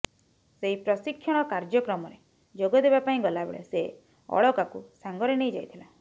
ସେଇ ପ୍ରଶିକ୍ଷଣ କାର୍ଯ୍ୟକ୍ରମରେ ଯୋଗ ଦେବା ପାଇଁ ଗଲାବେଳେ ସେ ଅଳକାକୁ ସାଙ୍ଗରେ ନେଇ ଯାଇଥିଲା